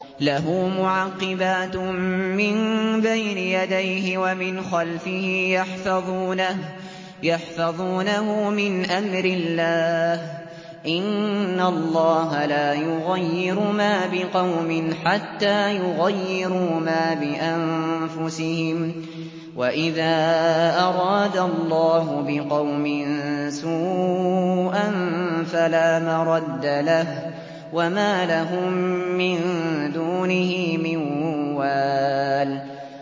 لَهُ مُعَقِّبَاتٌ مِّن بَيْنِ يَدَيْهِ وَمِنْ خَلْفِهِ يَحْفَظُونَهُ مِنْ أَمْرِ اللَّهِ ۗ إِنَّ اللَّهَ لَا يُغَيِّرُ مَا بِقَوْمٍ حَتَّىٰ يُغَيِّرُوا مَا بِأَنفُسِهِمْ ۗ وَإِذَا أَرَادَ اللَّهُ بِقَوْمٍ سُوءًا فَلَا مَرَدَّ لَهُ ۚ وَمَا لَهُم مِّن دُونِهِ مِن وَالٍ